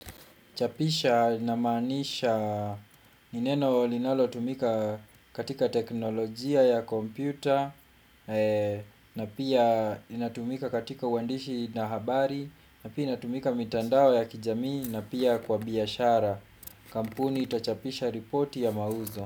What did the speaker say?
Chapisha inamaanisha ni neno linalotumika katika teknolojia ya kompyuta na pia inatumika katika uandishi na habari na pia inatumika mitandao ya kijamii na pia kwa biashara. Kampuni itachapisha ripoti ya mauzo.